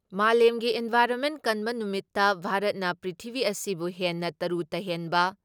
ꯃꯥꯂꯦꯝꯒꯤ ꯏꯟꯚꯥꯏꯟꯔꯣꯟꯃꯦꯟ ꯀꯟꯕ ꯅꯨꯃꯤꯠꯇ ꯚꯥꯔꯠꯅ ꯄ꯭ꯔꯤꯊꯤꯕꯤ ꯑꯁꯤꯕꯨ ꯍꯦꯟꯅ ꯇꯔꯨ ꯇꯍꯦꯟꯕ